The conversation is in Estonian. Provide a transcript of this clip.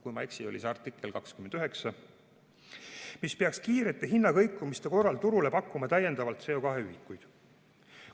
Kui ma ei eksi, oli see artikkel 29, mis peaks kiirete hinnakõikumiste korral turule pakkuma täiendavalt CO2 ühikuid.